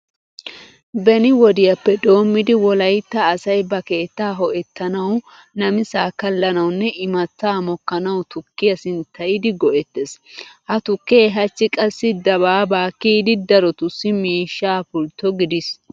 Beni wodiyappe doommidi wolaytta asay ba keettaa ho"ettanawu, namisaa kallanawunne imattaa mokkanawu tukkiya sinttayidi go"ettees. Ha tukkee hachchi qassi dabaabaa kiyidi darotussi miishshaa pultto gidiis.